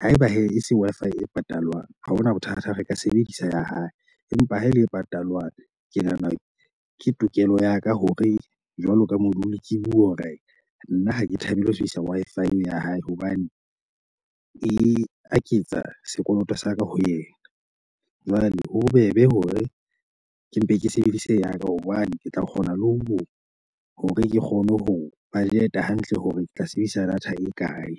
Haeba hee e se Wi-Fi e patalwang, ha hona bothata re ka sebedisa ya hae, empa ha e le e patalwang. Ke nahana ke tokelo ya ka hore jwalo ka module ke bue hore nna ha ke thabele ho sebedisa Wi-Fi le ya hae hobane e aketsa sekoloto sa ka ho yena. Jwale ho bobebe hore ke mpe ke sebedise ya ka hobane ke tla kgona le ho hore ke kgone ho budget hantle, hore ke tla sebedisa data e kae.